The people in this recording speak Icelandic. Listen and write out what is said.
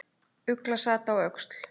Ugla sat á öxl.